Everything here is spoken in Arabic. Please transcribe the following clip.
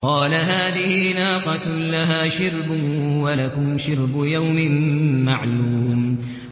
قَالَ هَٰذِهِ نَاقَةٌ لَّهَا شِرْبٌ وَلَكُمْ شِرْبُ يَوْمٍ مَّعْلُومٍ